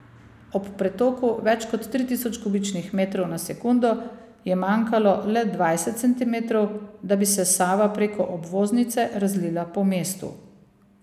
Ob pretoku več kot tri tisoč kubičnih metrov na sekundo je manjkalo le dvajset centimetrov, da bi se Sava preko obvoznice razlila po mestu.